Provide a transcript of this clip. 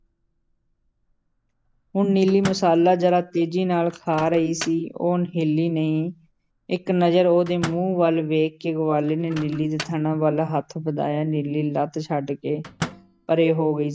ਹੁਣ ਨੀਲੀ ਮਸਾਲਾ ਜ਼ਰਾ ਤੇਜ਼ੀ ਨਾਲ਼ ਖਾ ਰਹੀ ਸੀ, ਉਹ ਹਿੱਲੀ ਨਹੀਂ, ਇੱਕ ਨਜ਼ਰ ਉਹਦੇ ਮੂੰਹ ਵੱਲ ਵੇਖ ਕੇ ਗਵਾਲੇ ਨੇ ਨੀਲੀ ਦੇ ਥਣਾਂ ਵੱਲ ਹੱਥ ਵਧਾਇਆ, ਨੀਲੀ ਲੱਤ ਛੱਡ ਕੇ ਪਰੇ ਹੋ ਗਈ।